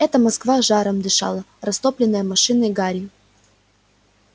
это москва жаром дышала растоплённая машинной гарью